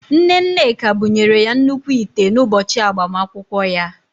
Nne Nneka bụnyere ya nnukwu ite n’ụbọchị agbamakwụkwọ ya